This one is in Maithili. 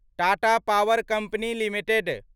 Tata power company limited